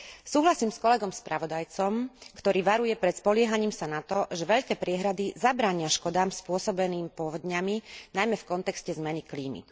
Súhlasím s kolegom spravodajcom, ktorý varuje pred spoliehaním sa na to, že veľké priehrady zabránia škodám spôsobeným povodňami, najmä v kontexte zmeny klímy.